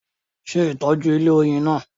Se itoju ilẹ̀ oyin naa